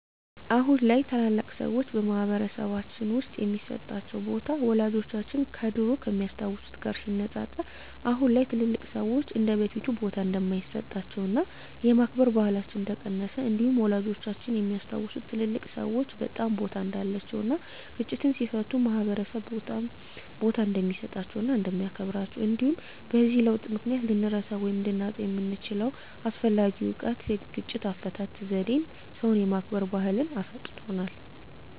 አሁን ላይ ታላላቅ ሰዎች በማህበረሰልባችን ውስጥ የሚሰጣቸው ቦታ ወላጆቻችን ከድሮው ከሚያስታውት ጋር ሲነፃፀር አሁን ላይ ትልልቅ ሰዎች እንደበፊቱ ቦታ እንደማይሰጣቸውና የማክበር ባህላችን እንደቀነሰ እንዲሁም ወላጆቻችን የሚያስታውሱት ትልልቅ ሰዎች በጣም ቦታ እንዳላቸው እና ግጭትን ሲፈቱ ማህበረሰብ በጣም ቦታ እንደሚሰጣቸው እና እንደሚያከብራቸው እንዲሁም በዚህ ለውጥ ምክንያት ልንረሳው ወይም ልናጣው የምንችለው አስፈላጊ እውቀት የግጭት አፈታት ዜዴን ሰው የማክበር ባህልን አሳጥቶናል።